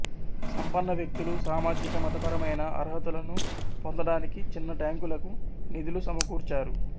సంపన్న వ్యక్తులు సామాజిక మతపరమైన అర్హతలను పొందటానికి చిన్న ట్యాంకులకు నిధులు సమకూర్చారు